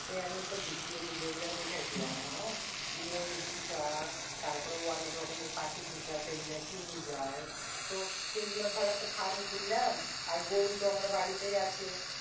সে আমি ভিডিও টিডিও তে দেখাইছিলাম যে ময়ূর পৌষা তারপরে অনেক রকমের পাখি পৌষা ঠিক আছে এগুলি কিনে যায়। তো এগুলার দর একটা ফার্ম খুললাম আর গুরুতো আমার বাড়িতে আছেই।